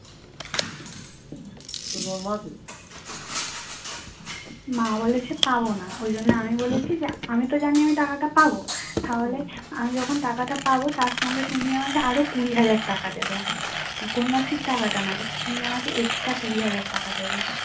মা বলেছে পাবনা ওই জন্য আমি বলেছি আমি তো জানি আমি টাকাটা পাবো। তাহলে আমি যখন টাকাটা পাব তার সঙ্গে তুমি আমাকে আরো কুড়ি হাজার টাকা দেবে কন্যাশ্রী টাকাটা নয় তুমি আমাকে আরো extra কুড়ি হাজার টাকা দেবে।